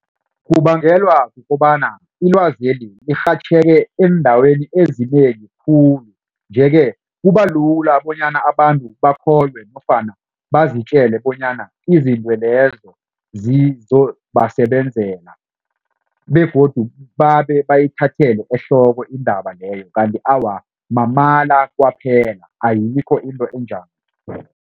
Kubangelwa kukobana ilwazeli lirhatjheke eendaweni ezinengi khulu. Nje-ke kuba lula bonyana abantu bakholwe nofana bazitjele bonyana izinto lezo zizobasebenzela begodu babe bayithathele ehloko indaba leyo kanti awa mamala kwaphela ayikho into enjalo.